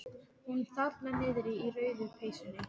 Hún þarna niðri í rauðu peysunni.